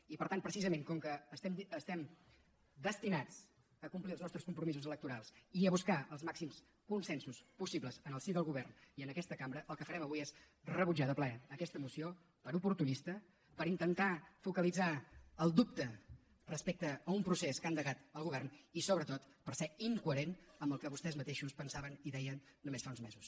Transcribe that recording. i per tant precisament com que estem destinats a complir els nostres compromisos electorals i a buscar els màxims consensos possibles en el si del govern i en aquesta cambra el que farem avui és rebutjar de ple aquesta moció per oportunista perquè intenta focalitzar el dubte respecte a un procés que ha endegat el govern i sobretot perquè és incoherent amb el que vostès mateixos pensaven i deien només fa uns mesos